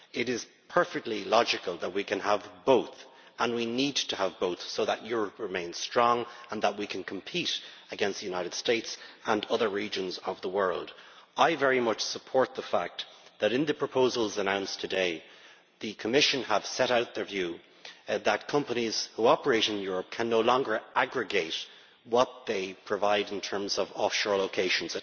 It is perfectly logical that we can have both, and we need to have both so that Europe remains strong and we can compete against the United States and other regions of the world. I very much support the fact that in the proposals announced today, the Commission has set out its view that companies who operate in Europe can no longer aggregate what they provide in terms of offshore locations.